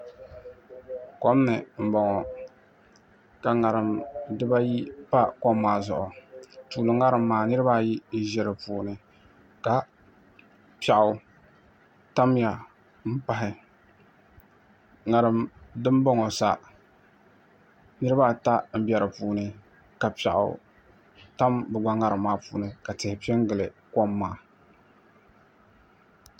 Kom ni n boŋo ka ŋarim dibayi pa kom maa zuɣu tuuli ŋarim maa niraba ayi n ʒi di puuni ka piɛɣu tamya n pahi ŋarim dinboŋo sa niraba ata n bɛ di puuni ka piɛɣu tam bi gba ŋarim maa puuni ka tihi piɛ n gili kom maa